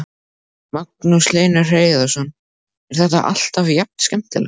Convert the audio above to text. Magnús Hlynur Hreiðarsson: Er þetta alltaf jafn skemmtilegt?